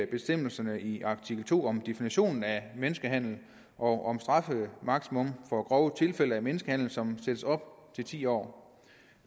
bestemmelserne i artikel to om definitionen af menneskehandel og om strafmaksimum for grove tilfælde af menneskehandel som sættes op til ti år